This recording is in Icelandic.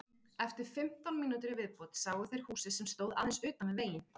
Eftir fimmtán mínútur í viðbót sáu þeir húsið sem stóð aðeins utan við veginn.